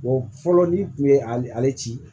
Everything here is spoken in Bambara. fɔlɔ n'i kun ye ale ci